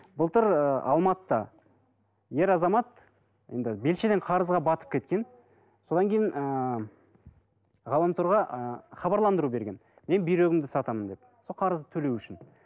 былтыр ыыы алматыда ер азамат енді белшеден қарызға батып кеткен содан кейін ыыы ғаламторға ы хабарландыру берген мен бүйрегімді сатамын деп сол қарызды төлеу үшін